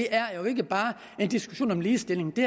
er jo ikke bare en diskussion om ligestilling det